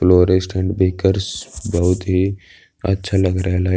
Floor stand देखकर बोहोत ही अच्छा लग रहा है। लाइट --